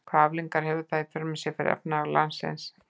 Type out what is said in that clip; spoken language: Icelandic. Hvaða afleiðingar hefði það í för með sér fyrir efnahag landsins?